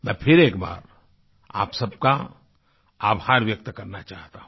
मैं फिर एक बार आप सबका आभार व्यक्त करना चाहता हूँ